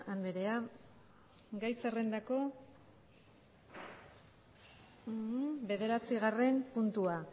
andrea gai zerrendako bederatzigarren puntua